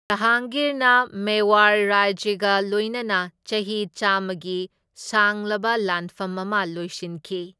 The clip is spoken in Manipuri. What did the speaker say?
ꯖꯍꯥꯡꯒꯤꯔꯅ ꯃꯦꯋꯥꯔ ꯔꯥꯖ꯭ꯌꯒ ꯂꯣꯢꯅꯅ ꯆꯍꯤ ꯆꯥꯝꯃꯒꯤ ꯁꯥꯡꯂꯕ ꯂꯥꯟꯐꯝ ꯑꯃ ꯂꯣꯏꯁꯤꯟꯈꯤ꯫